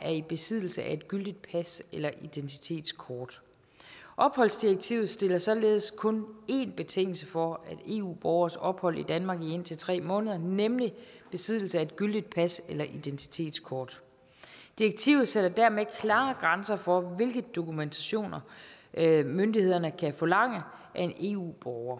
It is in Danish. er i besiddelse af et gyldigt pas eller identitetskort opholdsdirektivet stiller således kun én betingelse for eu borgeres ophold i danmark i indtil tre måneder nemlig besiddelse af et gyldigt pas eller identitetskort direktivet sætter dermed klare grænser for hvilke dokumentationer myndighederne kan forlange af en eu borger